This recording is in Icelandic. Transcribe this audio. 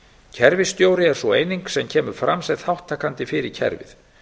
kerfisstjóri er sú eining sem kemur fram sem þátttakandi fyrir kerfið